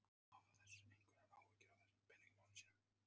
Fréttamaður: Hafa þeir einhverjar áhyggjur af þessum peningamálum sínum?